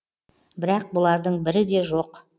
бірақ бұлардың бірі де жоқ